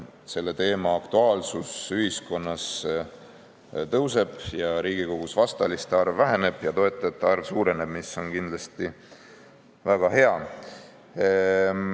Selle teema aktuaalsus ühiskonnas tõuseb, Riigikogus vastaliste arv väheneb ja toetajate arv suureneb, mis on kindlasti väga hea.